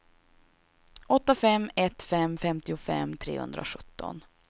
åtta fem ett fem femtiofem trehundrasjutton